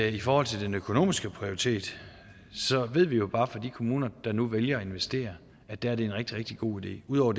i forhold til den økonomiske prioritet ved vi jo bare fra de kommuner der nu vælger at investere at der er det en rigtig rigtig god idé ud over